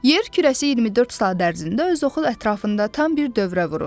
Yer kürəsi 24 saat ərzində öz oxu ətrafında tam bir dövrə vurur.